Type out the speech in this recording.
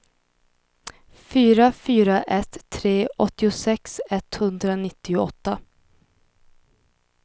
fyra fyra ett tre åttiosex etthundranittioåtta